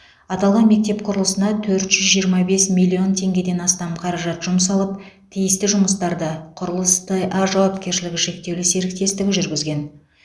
аталған мектеп құрылысына төрт жүз жиырма бес миллион теңгеден астам қаражат жұмсалып тиісті жұмыстарды құрылыс т а жауапкершілігі шектеулі серіктестігі жүргізген